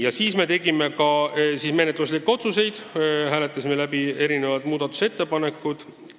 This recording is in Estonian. Ja lõpuks me tegime ka menetluslikke otsuseid ja hääletasime muudatusettepanekud läbi.